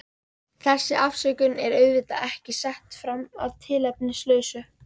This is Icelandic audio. Þessi afsökun er auðvitað ekki sett fram að tilefnislausu.